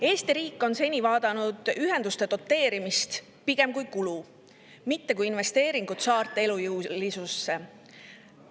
Eesti riik on seni pigem vaadanud ühenduste doteerimist kui kulu, mitte kui investeeringut saarte elujõulisusse.